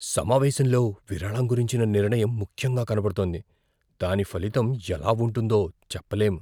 సమావేశంలో విరాళం గురించిన నిర్ణయం ముఖ్యంగా కనబడుతోంది, దాని ఫలితం ఎలా ఉంటుందో చెప్పలేం.